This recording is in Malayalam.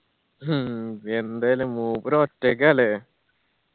ഹ്മ് എന്താല്ലേ മൂപ്പർ ഒറ്റക്ക ല്ലേ